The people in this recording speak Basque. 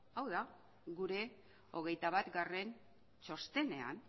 hau da gure hogeita batgarrena txostenean